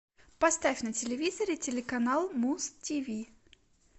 поставь на телевизоре телеканал муз тиви